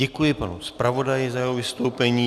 Děkuji panu zpravodaji za jeho vystoupení.